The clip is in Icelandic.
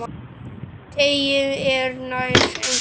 Teygnin er nær engin.